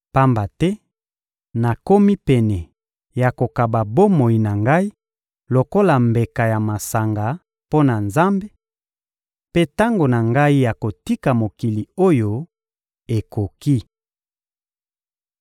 Pamba te nakomi pene ya kokaba bomoi na ngai lokola mbeka ya masanga mpo na Nzambe, mpe tango na ngai ya kotika mokili oyo ekoki.